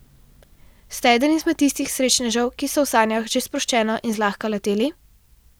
Ste eden izmed tistih srečnežev, ki so v sanjah že sproščeno in zlahka leteli?